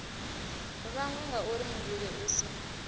vhangwa ngauri muvhili u si